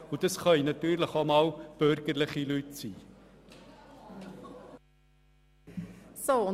Und das können natürlich auch einmal bürgerliche Leute sein.